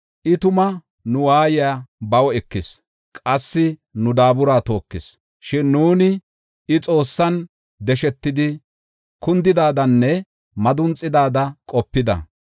I tuma nu waayiya baw ekis; qassi nu daabura tookis. Shin nuuni, I Xoossan deshetidi kundidadanne madunxidaada qopida.